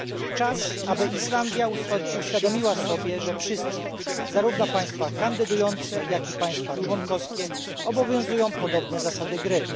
Czas, aby Islandia uświadomiła sobie, że wszystkich zarówno państwa kandydujące, jak i państwa członkowskie obowiązują podobne zasady gry.